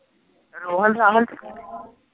ਰੋਹਲ